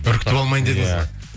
үркітіп алмайын дедіңіз ғой